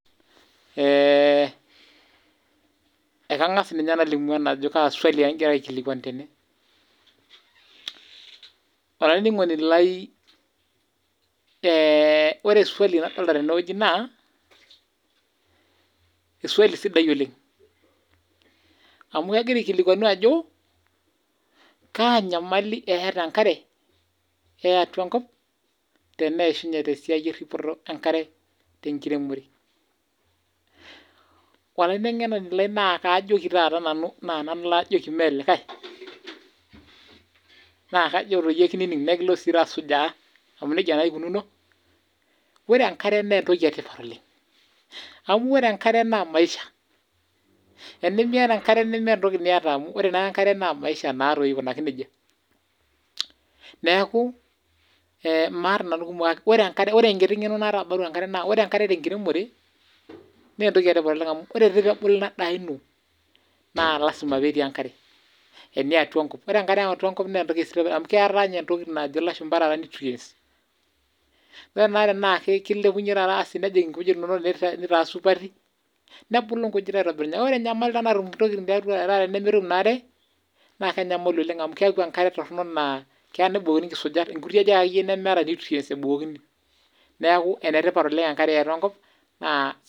Ekangas ajo kaa swali egirai aikilikwanu tene Olaininig'oni lai ore swali nadolita tene wueji naa eswali sidai oleng amu kegira aikilikwanu ajo kaa nyamali eeta enkare eatwa enkop teneishunye te siai eripoto enkare tenkiremore olainingoni lai naa kaajoki nanu naa nanu laajoki mee likai naa kajo sii kinining nekilo sii aasujaa amu nija naa eikunuuno ore enkare naa entoki etipat oleng amu ore enkare naa maisha enimiata enkare nimiata maisha aikunaki neija Neeku maata ngumok kake ore enkiri ng'eno naata naa ore enkare tenkiremore naa entoki etipata oleng amu ore peebulu endaa ino naa lasima peetii enkare eniatua enkop Ore enkare eatua enkop naa entoki sidai amu keetae entoki najo ilashumba nutrients ore naa taata na kilepunye asi nejing ngujit inono supati nebulu ngujit aitobiraki ore ninye enyamali natum ntokiting nimitoki naa aatum enkare naa enyamali naleng amu keeku enkare naa eya nebukokini inkisujat nkuti tokiting nemeeta nutrients ebukokini neeku enetipat oleng enkare eatua enkop naa